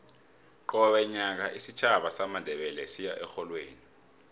qobe nyaka isitjhaba samandebele siya erholweni